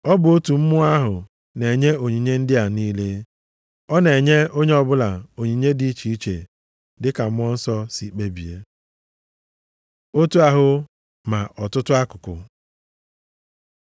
Ọ bụ otu Mmụọ ahụ na-enye onyinye ndị a niile. Ọ na-enye onye ọbụla onyinye dị iche iche dịka Mmụọ Nsọ si kpebie. Otu ahụ ma ọtụtụ akụkụ